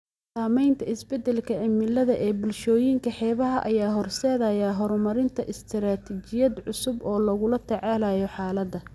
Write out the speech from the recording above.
Saamaynta isbeddelka cimilada ee bulshooyinka xeebaha ayaa horseedaya horumarinta istaraatiijiyad cusub oo lagula tacaalayo xaaladda.